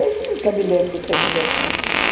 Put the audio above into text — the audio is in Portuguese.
Eu nunca me lembro de ter conversado isso.